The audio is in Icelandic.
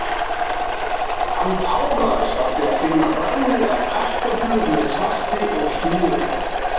Hann táraðist af því að finna bragðið af kartöflum með salti og smjöri.